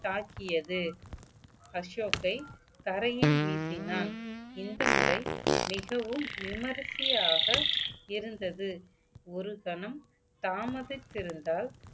தாக்கியது அசோக்கை தரையில் வீசினான் இந்த முறை மிகவும் விமர்சியாக இருந்தது ஒரு கணம் தாமதித்திருந்தால்